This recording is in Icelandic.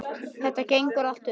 Þetta gengur allt upp.